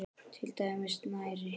Til dæmis snæri.